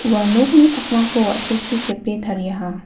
ua nokni pakmako wa·sechi sepe tariaha.